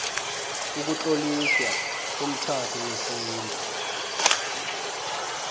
ukutloliswa komtjhado wesintu